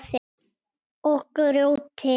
Og grjóti.